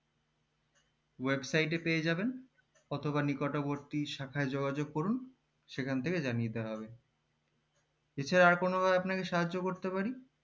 website এ পেয়ে যাবেন অথবা নিকট বর্তী শাখায় যোগাযোগ করুন সেখান থেকে জানিয়ে দেওয়া হবে এছাড়া আর কোনো ভাবে আপনাকে সাহায্য করতে পারি